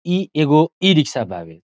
इ एगो इ रिक्शा बावे।